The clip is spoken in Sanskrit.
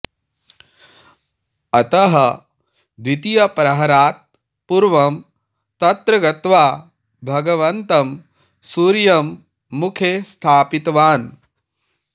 अतः द्वितीयप्रहरात् पूर्वं तत्र गत्वा भगवन्तं सूर्यं मुखे स्थापितवान्